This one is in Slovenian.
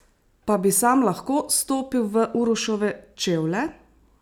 Pa bi sam lahko stopil v Uroševe čevlje?